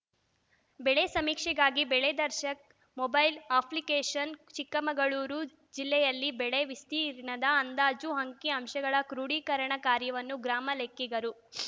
ಬೆಳೆ ಸಮೀಕ್ಷೆಗಾಗಿ ಬೆಳೆ ದರ್ಶಕ್‌ ಮೊಬೈಲ್‌ ಅಪ್ಲಿಕೇಷನ್‌ ಚಿಕ್ಕಮಗಳೂರು ಜಿಲ್ಲೆಯಲ್ಲಿ ಬೆಳೆ ವಿಸ್ತೀರ್ಣದ ಅಂದಾಜು ಅಂಕಿ ಅಂಶಗಳ ಕ್ರೋಢೀಕರಣ ಕಾರ್ಯವನ್ನು ಗ್ರಾಮ ಲೆಕ್ಕಿಗರು